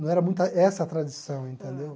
Não era muito essa a tradição, entendeu?